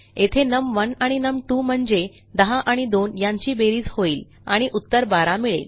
येथे num1आणि num2म्हणजे 10 एंड 2 यांची बेरीज होईल आणि उत्तर 12 मिळेल